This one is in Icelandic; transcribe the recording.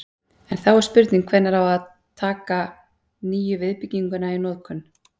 En þá er spurning hvenær á að taka nýju viðbygginguna í notkun?